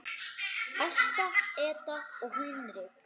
Ásta Edda og Hinrik.